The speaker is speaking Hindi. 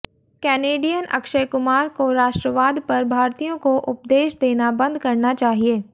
कैनेडियन अक्षय कुमार को राष्ट्रवाद पर भारतीयों को उपदेश देना बंद करना चाहिए